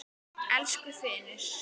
Elsku Finnur.